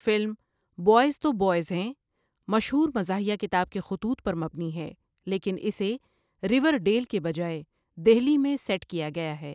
Film 'boys تو boys ہیں' مشہور مزاحیہ کتاب کی خطوط پر مبنی ہے لیکن اسے ریورڈیل کے بجائے دہلی میں سیٹ کیا گیا ہے۔